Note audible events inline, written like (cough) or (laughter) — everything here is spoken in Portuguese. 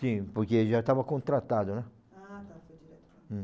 Sim, porque ele já estava contratado, né? Ah tá, (unintelligible)